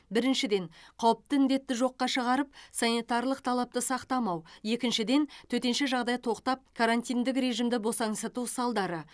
біріншіден қауіпті індетті жоққа шығарып санитарлық талапты сақтамау екіншіден төтенше жағдай тоқтап карантиндік режимді босаңсыту салдары